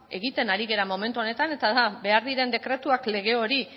egiten ari gara momentu honetan eta da behar diren dekretuak lege hori